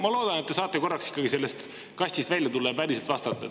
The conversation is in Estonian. Ma loodan, et te saate korraks sellest kastist välja tulla ja päriselt vastata.